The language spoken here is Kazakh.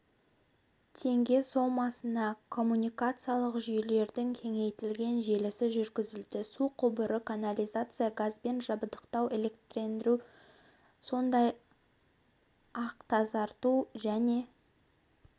теңге сомасына коммуникациялық жүйелердің кеңейтілген желісі жүргізілді су құбыры канализация газбен жабдықтау электрлендіру сондай-ақтазарту және